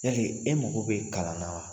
Yali e mako be kalan na wa ?